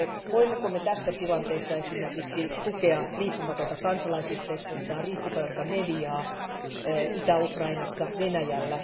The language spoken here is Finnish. Voimmeko me tässä tilanteessa esimerkiksi tukea riippumatonta kansalaisyhteiskuntaa, riippumatonta mediaa Itä Ukrainassa, Venäjällä?